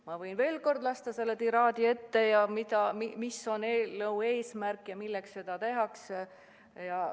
Ma võin veel kord lugeda ette selle tiraadi, mis on eelnõu eesmärk, milleks neid seadusi muudetakse.